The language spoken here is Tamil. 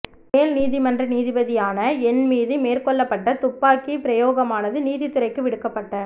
மேல் நீதிமன்ற நீதிபதியான என் மீது மேற்கொள்ளப்பட்ட துப்பாக்கி பிரயோகமானது நீதித்துறைக்கு விடுக்கப்பட்ட